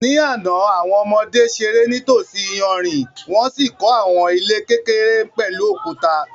Ní àná, àwọn ọmọdé ṣeré nítòsí iyanrìn wọ́n sì kọ́ àwọn ilé kékeré pẹ̀lú òkúta.